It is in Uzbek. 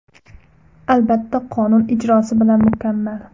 Albatta, qonun ijrosi bilan mukammal.